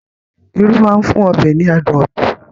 Irú máa ń fún ọbẹ̀ ní adùn ọtọ̀